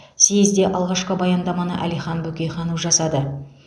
съезде алғашқы баяндаманы әлихан бөкейханов жасады